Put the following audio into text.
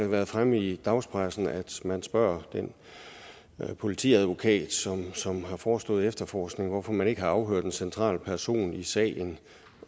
været fremme i dagspressen at man spørger den politiadvokat som har forestået efterforskningen hvorfor man ikke har afhørt en central person i sagen